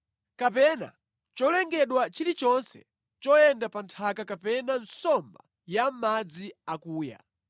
Kapena cholengedwa chilichonse choyenda pa nthaka kapena nsomba ya mʼmadzi akuya.